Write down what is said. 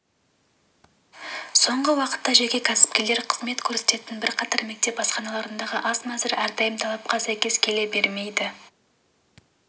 соңғы уақытта жеке кәсіпкерлер қызмет көрсететін бірқатар мектеп асханаларындағы ас мәзірі әрдайым талапқа сәйкес келе бере